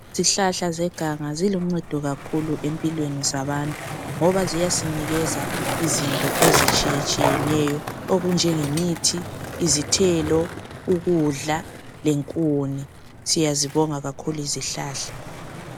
Izihlahla zeganga ziluncedo kakhulu empilweni zabantu ngoba ziyasinika izinto ezitshiye tshiyeneyo okunjenge mithi izithelo ukudla lenkuni siyayibonga kakhulu izihlahla.